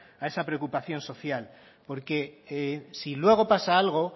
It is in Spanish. a esa preocupación social porque si luego pasa algo